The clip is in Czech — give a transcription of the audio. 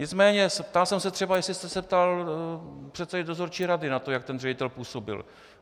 Nicméně ptal jsem se třeba, jestli jste se ptal předsedy dozorčí rady na to, jak ten ředitel působil.